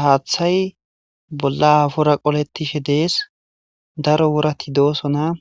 Haaththay bolla afora qoletishe dees daro worati dooso naa